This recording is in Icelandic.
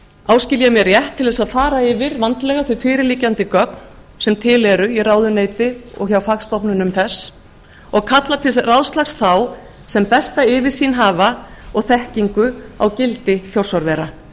áskil ég mér rétt til þess að fara yfir vandlega þau fyrirliggjandi gögn sem til eru í ráðuneyti og hjá fagstofnunum þess og kalla til ráðslags þá sem besta yfirsýn hafa og þekkingu á gildi þjórsárvera